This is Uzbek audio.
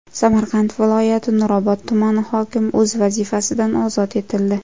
Samarqand viloyati Nurobod tumani hokimi o‘z vazifasidan ozod etildi.